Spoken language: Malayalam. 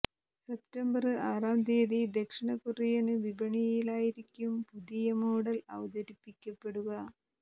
സെപ്തംബര് ആറാം തിയതി ദക്ഷിണ കൊറിയന് വിപണിയിലായിരിക്കും പുതിയ മോഡൽ അവതരിപ്പിക്കപ്പെടുക